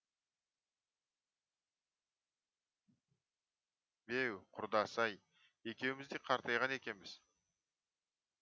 беу құрдас ай екеуіміз де қартайған екенбіз